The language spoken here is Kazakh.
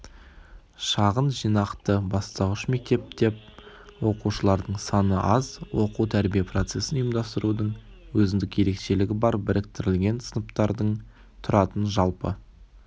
шағын жинақты бастауыш мектеп деп оқушылардың саны аз оқу-тәрбие процесін ұйымдастырудың өзіндік ерекшелігі бар біріктірілген сыныптардын тұратын жалпы